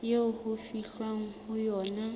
eo ho fihlwang ho yona